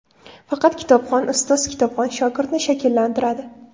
Faqat kitobxon ustoz kitobxon shogirdni shakllantiradi.